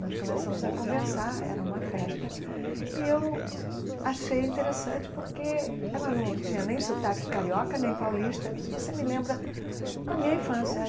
Nós começamos a conversar, era uma festa, e eu achei interessante porque ela não tinha nem sotaque carioca, nem paulista, disse, você me lembra a minha infância.